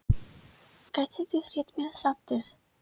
Gætirðu rétt mér saltið?